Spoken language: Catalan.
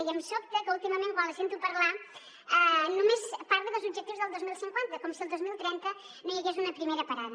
i em sobta que últimament quan la sento parlar només parli dels objectius del dos mil cinquanta com si al dos mil trenta no hi hagués una primera parada